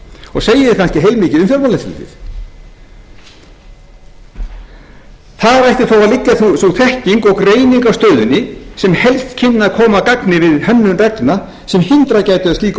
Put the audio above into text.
og segir kannski heilmikið um fjármálaeftirlitið þar ætti þó að liggja sú þekking og greining á stöðunni sem helst kynni að koma að gagni við hönnun reglna sem hindrað gætu að slík ósköp dynja